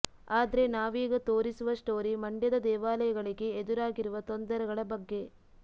ಆದ್ರೆ ನಾವೀಗ ತೋರಿಸುವ ಸ್ಟೋರಿ ಮಂಡ್ಯದ ದೇವಾಲಯಗಳಿಗೆ ಎದುರಾಗಿರುವ ತೊಂದರೆಗಳ ಬಗ್ಗೆ